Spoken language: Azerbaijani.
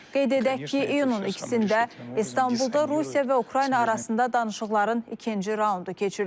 Qeyd edək ki, iyunun 2-də İstanbulda Rusiya və Ukrayna arasında danışıqların ikinci raundu keçirilib.